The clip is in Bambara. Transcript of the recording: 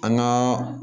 An gaa